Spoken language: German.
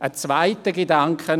Ein zweiter Gedanke: